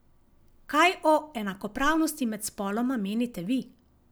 Kaj o enakopravnosti med spoloma menite vi?